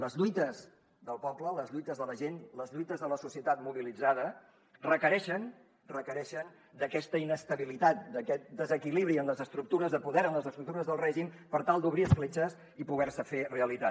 les lluites del poble les lluites de la gent les lluites de la societat mobilitzada requereixen requereixen d’aquesta inestabilitat d’aquest desequilibri en les estructures de poder en les estructures del règim per tal d’obrir escletxes i poder se fer realitat